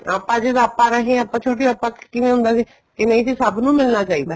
ਆਪਾਂ ਜਦ ਆਪਾਂ ਰਹੇ ਹਾਂ ਆਪਾਂ ਛੋਟੇ ਆਪਾਂ ਕਿਵੇਂ ਹੁੰਦਾ ਸੀ ਕੇ ਨਹੀਂ ਜੀ ਸਭ ਨੂੰ ਮਿਲਣਾ ਚਾਹੀਦਾ